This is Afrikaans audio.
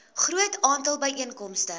groot aantal byeenkomste